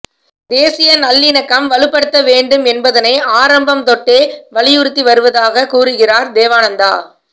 தேசிய நல்லிணக்கம் வலுப்படுத்தப்பட வேண்டும் என்பதனை ஆரம்பம் தொட்டே வலியுறுத்தி வருவதாக கூறுகிறார் தேவானந்தா